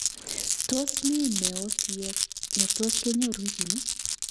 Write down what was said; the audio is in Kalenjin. Tos mi meosyek ne tos kenyor wikini?